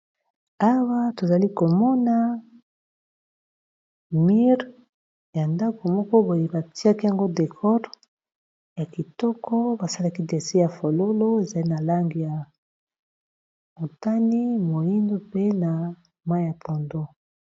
Awa tozali komona mire ya ndako moko boye batiaki yango decore ya kitoko basalaki dessin ya fololo ezali na langi ya motani, moyindo mpe na mayi ya pondu.